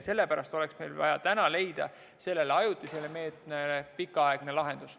Sellepärast oleks meil vaja täna leida selle ajutise meetme asemele pikaaegne lahendus.